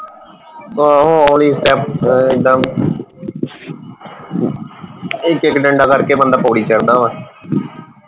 ਆਹੋ ਹੋਲੀ ਇਕ ਇਕ ਡੰਡਾ ਕਰਕੇ ਬੰਦਾ ਪੋੜੀ ਚੜ੍ਹਦਾ ਵਾ